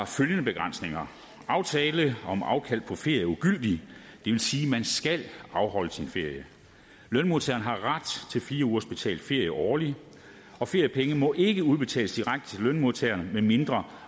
følgende begrænsninger aftale om afkald på ferie er ugyldig det vil sige at man skal afholde sin ferie lønmodtageren har ret til fire ugers betalt ferie årligt og feriepengene må ikke udbetales direkte til lønmodtageren medmindre